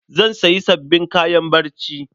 Zan sayi sabbin kayan barci.